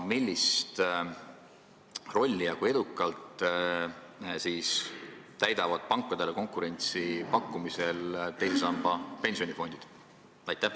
Millist rolli ja kui edukalt täidavad pankadele konkurentsi pakkudes teise samba pensionifondid?